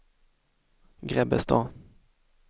Grebbestad